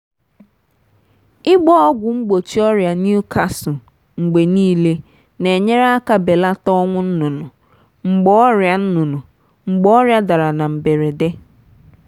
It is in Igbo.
ịgba ọgwụ mgbochi ọrịa newcastle mgbe niile na-enyere aka belata ọnwụ nnụnụ mgbe ọrịa nnụnụ mgbe ọrịa dara na mberede.